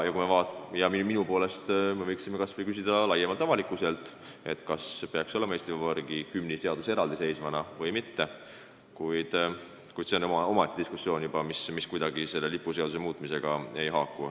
Minu poolest me võiksime kas või küsida avalikkuselt, kas peaks olema Eesti Vabariigi hümni seadus eraldiseisvana või mitte, kuid see on juba omaette diskussioon, mis kuidagi selle lipuseaduse muutmisega enam ei haaku.